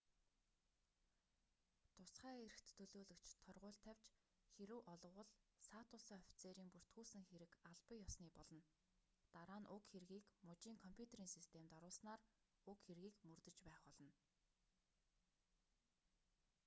тусгай эрхт төлөөлөгч торгууль тавьж хэрэв олговол саатуулсан офицерын бүртгүүлсэн хэрэг албан ёсны болно дараа нь уг хэргийг мужийн компьютерийн системд оруулснаар уг хэргийг мөрдөж байх болно